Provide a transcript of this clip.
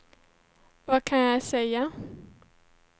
vad kan jag säga